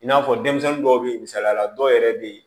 I n'a fɔ denmisɛnnin dɔw bɛ ye misaliyala dɔw yɛrɛ bɛ yen